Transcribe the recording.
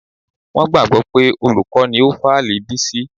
Wọ́n gbàgbọ́ pé olùkọ́ ni ó fálì Bísí.